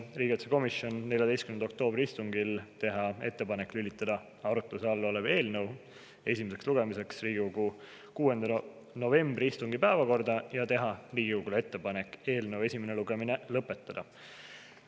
Riigikaitsekomisjon otsustas 14. oktoobri istungil teha ettepaneku lülitada arutluse all olev eelnõu esimeseks lugemiseks Riigikogu 6. novembri istungi päevakorda ja teha Riigikogule ettepaneku eelnõu esimene lugemine lõpetada.